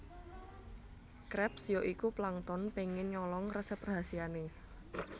Krabs ya iku Plankton pengen nyolong resep rahasiane